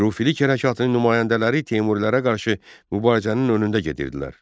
Xürrəmilik hərəkatının nümayəndələri Teymurilərə qarşı mübarizənin önündə gedirdilər.